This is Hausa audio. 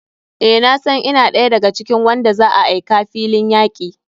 Eh nasan ina ɗaya da ga cikin wanda za a aika filin yaki.